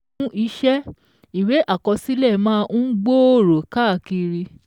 Fún iṣẹ́, ìwé àkọsílẹ̀ máa ń gbòòrò káàkiri